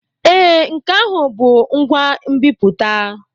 Ee, nke ahụ bụ ngwa nbiputa.